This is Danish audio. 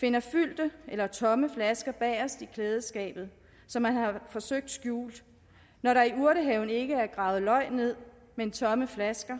finder fyldte eller tomme flasker bagest i klædeskabet som er forsøgt skjul og når der i urtehaven ikke er gravet løg ned men tomme flasker